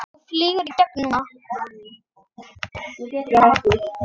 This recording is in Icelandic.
Þú flýgur í gegn núna!